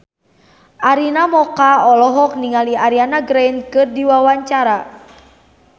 Arina Mocca olohok ningali Ariana Grande keur diwawancara